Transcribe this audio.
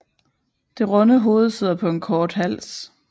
Det runde hoved sidder på en kort hals